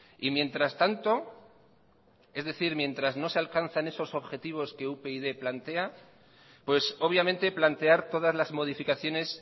y mientras tanto es decir mientras no se alcanzan esos objetivos que upyd plantea pues obviamente plantear todas las modificaciones